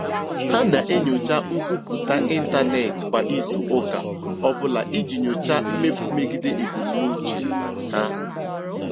Ha na-enyocha nkwupụta ịntanetị kwa izu ụka ọ bụla iji nyochaa mmefu megide ebumnuche ha.